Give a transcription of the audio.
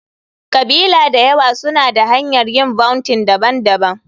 ƙabila da yawa suna da hanyar yin vounting daban-daban.